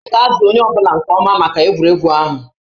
A ga-azụ onye ọ bụla nke ọma maka egwuregwu ahụ